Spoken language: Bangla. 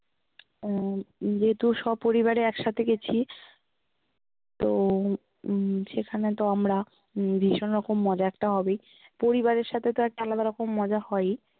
আহ যেহেতু সপরিবারে একসাথে গেছি তো উম সেখানে তো আমরা ভীষণ রকম মজা একটা হবেই, পরিবারের সাথে তো একটা আলাদা রকম মজা হয়েই